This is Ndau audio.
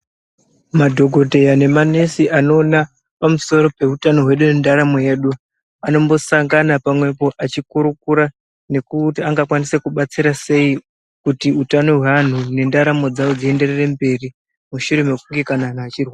Madhokodheya nemanesi anoona, pamusoro peutano hwedu nendaramo yedu, anombosangana pamwepo achikurukura, nekuti angakwanise kubatsira sei kuti utano hweanhu nendaramo dzavo dzienderere mberi, mushure mekunge kana anhu achirwara.